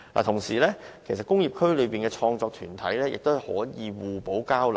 同時，工業區內的創作團體亦可以互相交流。